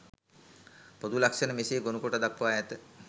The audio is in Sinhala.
පොදු ලක්ෂණ මෙසේ ගොනුකොට දක්වා ඇත.